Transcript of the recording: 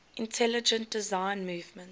intelligent design movement